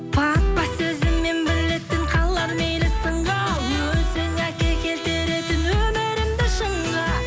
папа сөзі мен білетін қалар мейлі сынға өзің әке келтіретін өмірімді шыңға